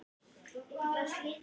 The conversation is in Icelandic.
Hann stendur upp og gengur um gólf.